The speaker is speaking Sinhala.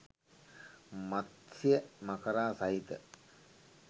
මත්ස්‍ය මකරා සහිත